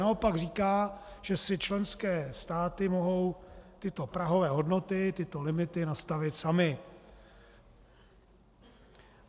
Naopak říká, že si členské státy mohou tyto prahové hodnoty, tyto limity, nastavit samy.